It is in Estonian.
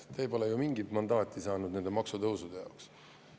Teie pole ju mingit mandaati saanud nende maksutõusude jaoks.